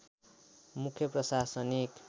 मुख्य प्रशासनिक